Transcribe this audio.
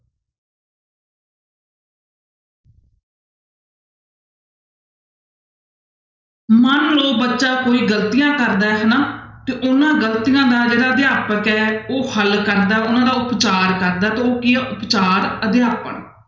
ਮਨ ਲਓ ਬੱਚਾ ਕੋਈ ਗ਼ਲਤੀਆਂ ਕਰਦਾ ਹੈ ਹਨਾ ਤੇ ਉਹਨਾਂ ਗ਼ਲਤੀਆਂ ਜਿਹੜਾ ਅਧਿਆਪਕ ਹੈ ਉਹ ਹੱਲ ਕਰਦਾ ਉਹਨਾਂ ਦਾ ਉਪਚਾਰ ਕਰਦਾ ਤੇ ਉਹ ਕੀ ਆ ਉਪਚਾਰ ਅਧਿਆਪਨ,